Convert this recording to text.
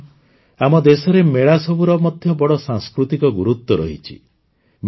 ବନ୍ଧୁଗଣ ଆମ ଦେଶରେ ମେଳା ସବୁର ମଧ୍ୟ ବଡ଼ ସାଂସ୍କୃତିକ ଗୁରୁତ୍ୱ ରହିଛି